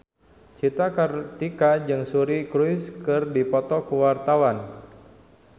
Cika Kartika jeung Suri Cruise keur dipoto ku wartawan